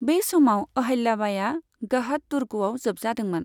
बै समाव अहल्या बाइया गहद दुर्गआव जोबजादोंमोन।